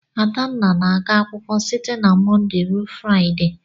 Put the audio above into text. Adanna na-aga akwụkwọ site na Mọnde ruo Fraịde.